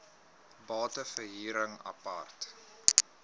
bate verhuring apart